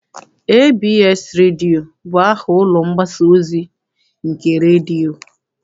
ABS redio bụ aha ụlọ mgbasa ozi nke redio.